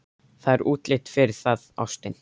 Það er útlit fyrir það, ástin.